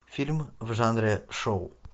фильм в жанре шоу